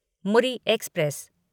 Muri express